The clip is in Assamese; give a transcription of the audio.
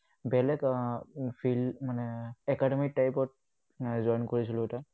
বেলেগ আহ field মানে academic type ত join কৰিছিলো এটা।